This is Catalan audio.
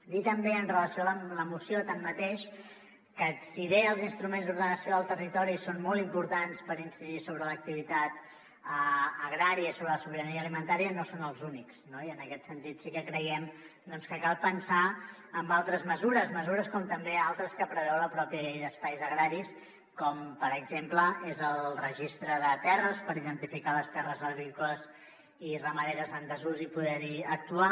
dir també amb relació a la moció tanmateix que si bé els instruments d’ordenació del territori són molt importants per incidir sobre l’activitat agrària i sobre la sobirania alimentària no són els únics no i en aquest sentit sí que creiem que cal pensar en altres mesures mesures com també altres que preveu la pròpia llei d’espais agraris com per exemple és el registre de terres per identificar les terres agrícoles i ramaderes en desús i poder hi actuar